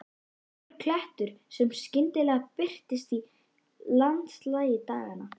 Stakur klettur sem skyndilega birtist í landslagi daganna.